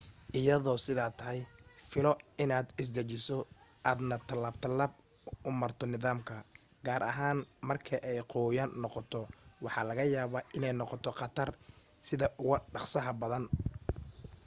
iyadoo sidaa tahay filo in aad isdejiso aadna talaab talaab u marto nidaamka gaar ahaan marka ay qoyaan noqoto waxaa laga yaaba iney noqoto qatar sida ugu dhaqsaha badan